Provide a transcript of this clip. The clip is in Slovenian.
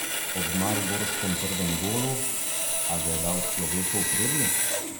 Ob mariborskem prvem golu: "A ga je dal človekov prednik?